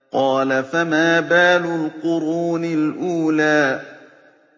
قَالَ فَمَا بَالُ الْقُرُونِ الْأُولَىٰ